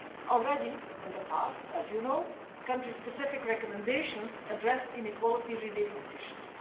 Already in the past, as you know, country specific recommendations have addressed inequality related issues.